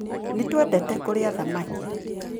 Nĩ twendete kũrĩa thamaki.